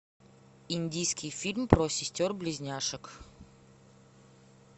индийский фильм про сестер близняшек